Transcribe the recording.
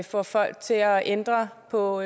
får folk til at ændre på